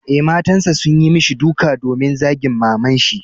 Eh, matasan sun yi mishi duka domin zagin maman shi.